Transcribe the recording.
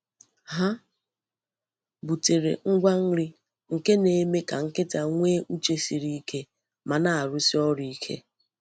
Ha butere ngwa nri nke na-eme ka nkịta nwee uche siri ike ma na-arụsi ọrụ ike.